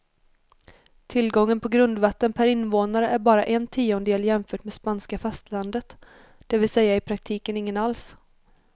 Tillgången på grundvatten per invånare är bara en tiondel jämfört med spanska fastlandet, det vill säga i praktiken ingen alls.